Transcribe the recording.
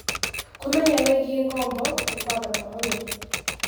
Kũmenya wĩgiĩ ngombo nĩ gwa bata mũno.